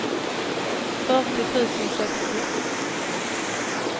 fyrtio tusen sextio